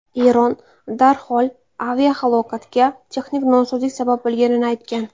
Eron darhol aviahalokatga texnik nosozlik sabab bo‘lganini aytgan.